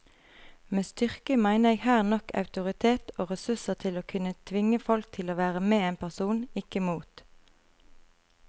Med styrke mener jeg her nok autoritet og ressurser til å kunne tvinge folk til å være med en person, ikke mot.